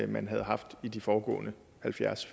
man havde haft i de foregående halvfjerds